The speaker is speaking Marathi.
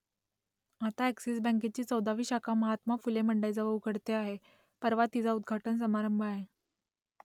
आता अ‍ॅक्सिस बँकेची चौदावी शाखा महात्मा फुले मंडईजवळ उघडते आहे , परवा तिचा उद्घाटन समारंभ आहे